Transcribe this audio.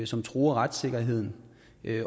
som truer retssikkerheden